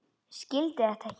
Skildi þetta ekki.